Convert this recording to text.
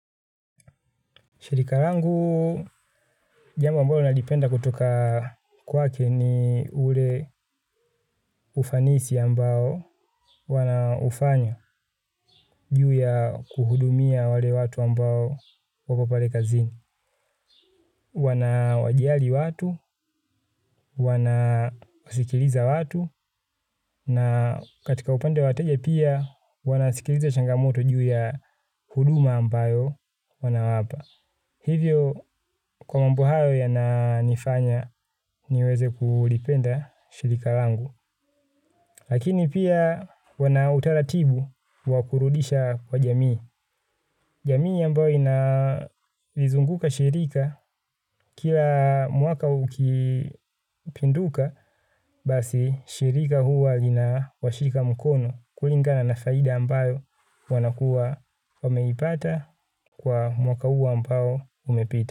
Shirika rangu jambo ambalo nalipenda kutoka kwake ni ule ufanisi ambao wanaufanya juu ya kuhudumia wale watu ambao wako pale kazini. Wanawajali watu, wanasikiliza watu, na katika upande wa wateja pia wanasikiliza changamoto juu ya huduma ambayo wanawapa. Hivyo kwa mambo hayo yananifanya niweze kulipenda shirika langu. Lakini pia wana utaratibu wa kurudisha kwa jamii. Jamii ambayo inalizunguka shirika kila mwaka ukipinduka basi shirika huwa linawashika mkono kulingana na faida ambayo wanakuwa wameipata kwa mwaka huo ambao umepita.